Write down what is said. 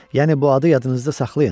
Yəni bu adı yadınızda saxlayın.